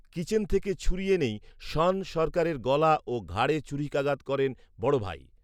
kitchen থেকে ছুরি এনেই শ্যন সরকারের গলা ও ঘাড়ে ছুরিকাঘাত করেন বড়ভাই